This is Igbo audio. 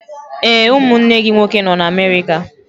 Ee, ụmụnne gị nwoke nọ na Amerika.